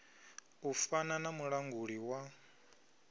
u fana na mulanguli wa